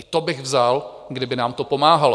I to bych vzal, kdyby nám to pomáhalo.